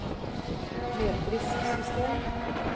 metrisk system